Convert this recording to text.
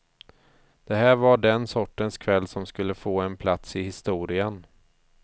Det här var den sortens kväll som skulle få en plats i historien.